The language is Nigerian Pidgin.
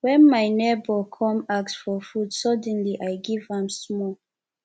wen my nebor come ask for food suddenly i give am small